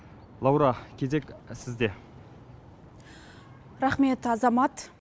лаура кезек сізде рақмет азамат